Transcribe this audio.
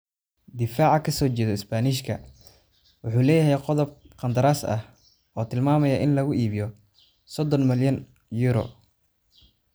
Difaca kasijedoo Isbaanishka wuxuu leeyahay qodob qandaraas ah oo tilmaamaya in lagu iibiyo €30 milyan.